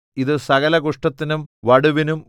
ഇതു സകല കുഷ്ഠത്തിനും വടുവിനും